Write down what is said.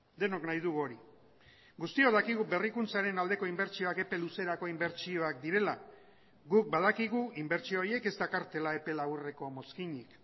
denok nahi dugu hori guztiok dakigu berrikuntzaren aldeko inbertsioak epe luzerako inbertsioak direla guk badakigu inbertsio horiek ez dakartela epe laburreko mozkinik